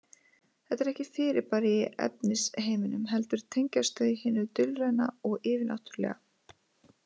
Þetta eru ekki fyrirbæri í efnisheiminum heldur tengjast þau hinu dulræna og yfirnáttúrulega.